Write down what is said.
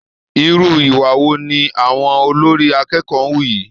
Irú ìwà wo ni àwọn olórí akẹ́kọ̀ọ́ hù yìí!